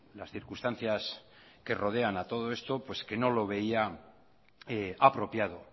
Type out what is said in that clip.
las circunstancias que rodean a todo esto pues que no lo veía apropiado